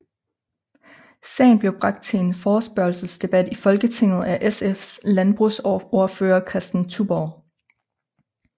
Sagen blev bragt til en forespørgelsesdebat i Folketinget af SFs landbrugsordfører Kristen Touborg